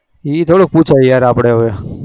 એ થોડી પુસવા ગયા તા આપડે